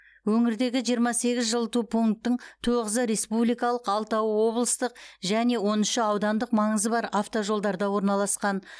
өңірдегі жиырма сегіз жылыту пунктің тоғызы республикалық алтауы облыстық және он үші аудандық маңызы бар автожолдарда орналасқан